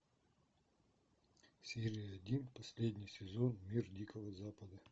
серия один последний сезон мир дикого запада